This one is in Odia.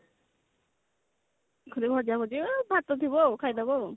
ଏଇ ଭଜା ଭଜି ଆଉ ଭାତ ଥିବ ଖାଇଦେବ ଆଉ